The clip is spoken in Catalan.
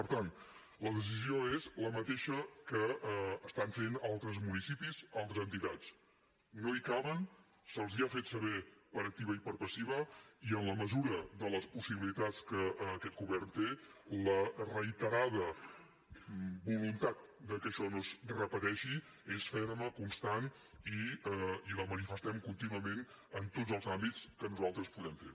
per tant la decisió és la mateixa que estan fent altres municipis altres entitats no hi caben se’ls ha fet saber per activa i per passiva i en la mesura de les possibilitats que aquest govern té la reiterada voluntat que això no es repeteixi és ferma constant i la manifestem contínuament en tots els àmbits que nosaltres podem fer